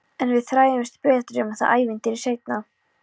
En við fræðumst betur um það ævintýri seinna.